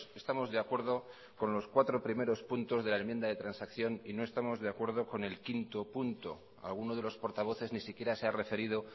estamos de acuerdo con los cuatro primeros puntos de la enmienda de transacción y no estamos de acuerdo con el punto cinco alguno de los portavoces ni siquiera se ha referido